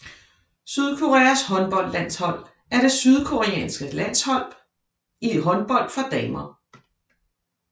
Sydkoreas håndboldlandshold er det sydkoreanske landshold i håndbold for damer